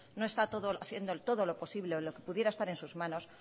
no está haciendo todo lo posible o lo que pudiera estar en sus manos